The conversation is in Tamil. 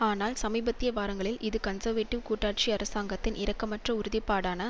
ஆனால் சமீபத்திய வாரங்களில் இது கன்சர்வேடிவ் கூட்டாட்சி அரசாங்கத்தின் இரக்கமற்ற உறுதிப்பாடான